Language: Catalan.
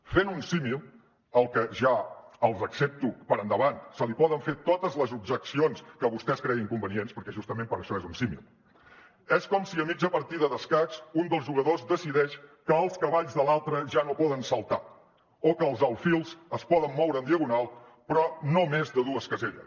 fent un símil al que ja els ho accepto per endavant se li poden fer totes les objeccions que vostès creguin convenients perquè justament per això és un símil és com si a mitja partida d’escacs un dels jugadors decideix que els cavalls de l’altre ja no poden saltar o que els alfils es poden moure en diagonal però no més de dues caselles